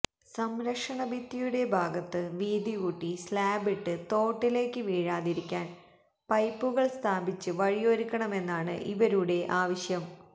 സംരക്ഷണഭിത്തിയുടെ ഭാഗത്ത് വീതികൂട്ടി സ്ലാബിട്ട് തോട്ടിലേയ്ക്ക് വീഴാതിരിക്കാൻ പൈപ്പുകൾ സ്ഥാപിച്ച് വഴിയൊരുക്കണമെന്നാണ് ഇവരുടെ ആവശ്യം